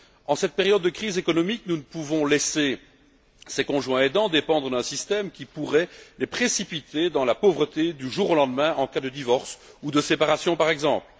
En cette période de crise économique, nous ne pouvons laisser ces conjoints aidants dépendre d'un système qui pourrait les précipiter dans la pauvreté, du jour au lendemain, en cas de divorce ou de séparation par exemple.